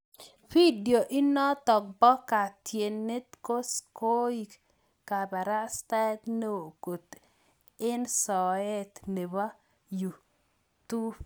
Vidio inotok poo ketyinet koo kokoek kaparastaet neoo koot eng Soet nepoo yuu tup